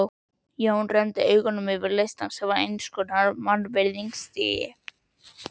Jón renndi augum yfir listann sem var eins konar mannvirðingastigi.